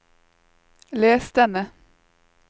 les denne